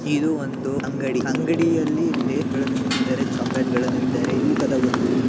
ಇದು ಒಂದು ಅಂಗಡಿ ಅಂಗಡಿಯಲ್ಲಿ ಲೇಸ್ಗ ಳನ್ನು ಇಟ್ಟಿದ್ದಾರೆ ಚಾಕ್ಲೆಟ್ಗ ಳನ್ನ ಇಟ್ಟಿದ್ದಾರೆ ತೂಕದ ಒಂದು --